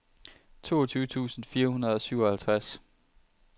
toogtyve tusind fire hundrede og syvoghalvtreds